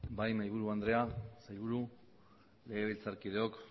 bai mahai buru andrea sailburu legebiltzar kideok